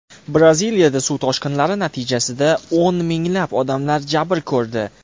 Braziliyadagi suv toshqinlari natijasida o‘n minglab odamlar jabr ko‘rdi.